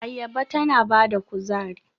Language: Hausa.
Ayaba tana ba da kuzari.